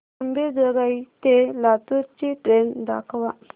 अंबेजोगाई ते लातूर ची ट्रेन दाखवा